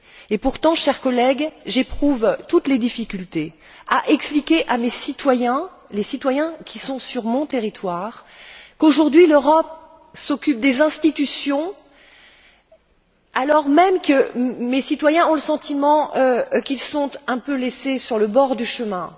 Et pourtant, chers collègues, j'éprouve toutes les difficultés à expliquer à mes concitoyens, les citoyens qui sont sur mon territoire, qu'aujourd'hui, l'Europe s'occupe des institutions, alors même que mes citoyens ont le sentiment qu'ils sont un peu laissés sur le bord du chemin.